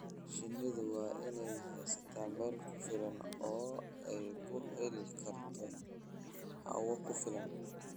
Shinnidu waa inay haysataa meel ku filan oo ay ku heli karto hawo ku filan.